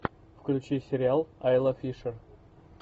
включи сериал айла фишер